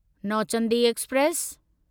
Nauchandi express